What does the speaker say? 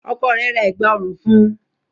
Ọkọ rẹ̀ ra Ẹ̀gbá ọrùn fun